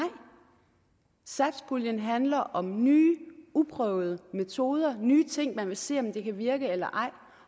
satspuljen handler om nye uprøvede metoder nye ting man vil se om kan virke eller ej